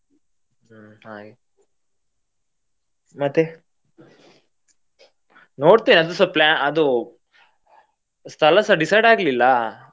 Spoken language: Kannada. ಹ್ಮ್ ಹಾಗೆ ಮತ್ತೆ ನೋಡ್ತೇನೆ ಅದುಸಾ plan ಅದು ಸ್ಥಳಸಾ decide ಆಗಲಿಲ್ಲ.